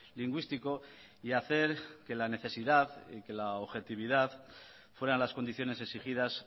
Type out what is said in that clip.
lingüístico y hacer que la necesidad que la objetividad fueran las condiciones exigidas